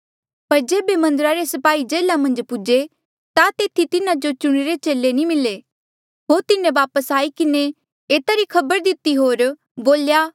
पर जेबे मन्दरा रे स्पाही जेल्हा मन्झ पूजे ता तेथी तिन्हा जो चुणिरे चेले नी मिले होर तिन्हें वापस आई किन्हें एता री खबर दिती होर